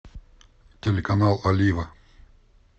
телеканал олива